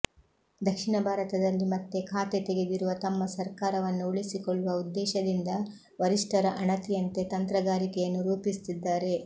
ದಕ್ಷಿಣ ಭಾರತದಲ್ಲಿ ಮತ್ತೆ ಖಾತೆ ತೆಗೆದಿರುವ ತಮ್ಮ ಸರ್ಕಾರವನ್ನು ಉಳಿಸಿಕೊಳ್ಳುವ ಉದ್ದೇಶದಿಂದ ವರಿಷ್ಠರ ಅಣತಿಯಂತೆ ತಂತ್ರಗಾರಿಕೆಯನ್ನು ರೂಪಿಸುತ್ತಿದ್ದಾರೆ